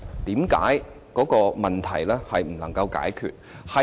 為何這個問題不能解決？